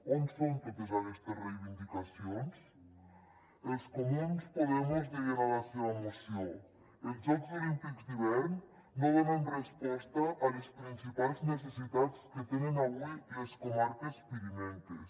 on són totes aquestes reivindicacions els comuns podemos deien a la seva moció els jocs olímpics d’hivern no donen resposta a les principals necessitats que tenen avui les comarques pirinenques